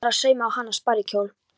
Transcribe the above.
Hún var að sauma á hana sparikjól.